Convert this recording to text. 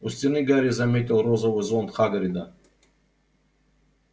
у стены гарри заметил розовый зонт хагрида